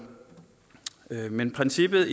man risikerer